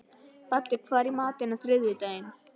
Baddi, hvað er í matinn á þriðjudaginn?